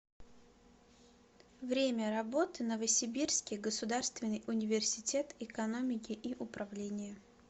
время работы новосибирский государственный университет экономики и управления